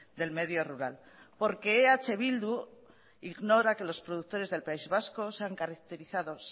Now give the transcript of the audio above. del medio rural porque eh bildu ignora que los productores del país vasco se han caracterizado